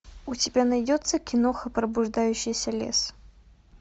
у тебя найдется киноха пробуждающийся лес